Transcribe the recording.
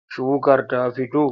Shukar ta fito?